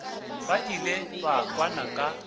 ba ilego ba kwana ka